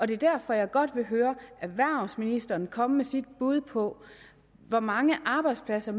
det er derfor jeg godt vil høre erhvervsministeren komme med sit bud på hvor mange arbejdspladser